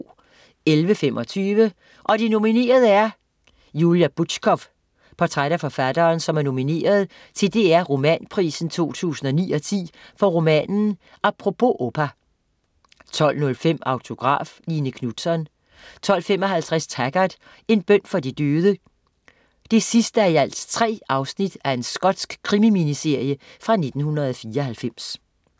11.25 Og de nominerede er ... Julia Butschkow. Portræt af forfatteren, som er nomineret til DR Romanprisen 2009/10 for romanen "Apropos Opa" 12.05 Autograf: Line Knutzon 12.55 Taggart: En bøn for de døde 3:3 Skotsk krimi-miniserie fra 1994